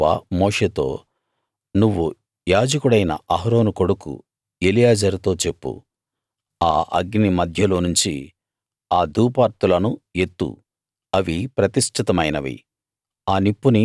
అప్పుడు యెహోవా మోషేతో నువ్వు యాజకుడైన అహరోను కొడుకు ఎలియాజరుతో చెప్పు ఆ అగ్ని మధ్యలోనుంచి ఆ ధూపార్తులను ఎత్తు అవి ప్రతిష్ఠితమైనవి